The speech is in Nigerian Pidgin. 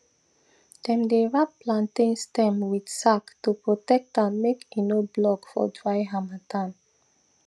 dem dey wrap plantain stem with sack to protect am make e no block for dry harmattan